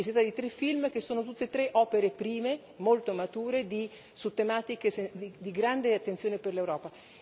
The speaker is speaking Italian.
Si tratta di tre film che sono tutti e tre opere prime molto mature su tematiche di grande attenzione per l'Europa.